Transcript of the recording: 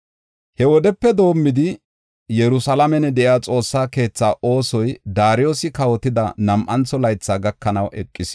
He wodepe doomidi Yerusalaamen de7iya Xoossaa keetha oosoy Daariyosi kawotida nam7antho laythi gakanaw eqis.